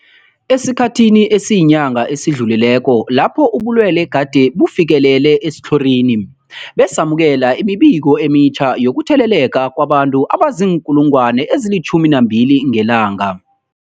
Esikhathini esiyinyanga esidlulileko lapho ubulwele gade bufikelele esitlhorini, besamukela imibiko emitjha yokutheleleka kwabantu abazii-12 000 ngelanga.